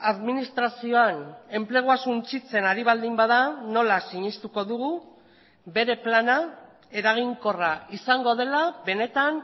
administrazioan enplegua suntsitzen ari baldin bada nola sinestuko dugu bere plana eraginkorra izango dela benetan